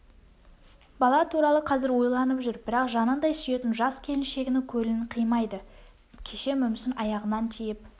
бала туралы қазір ойланып жүр бірақ жаныңдай сүйетін жас келіншегінің көңілін қимайды кеше мүмсін аяғынан тиіп